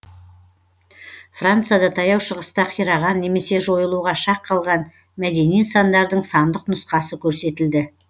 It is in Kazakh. францияда таяу шығыста қираған немесе жойылуға шақ қалған мәдени нысандардың сандық нұсқасы көрсетілді